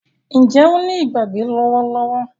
Njé o ní Ìgbàgbé lówó lówó?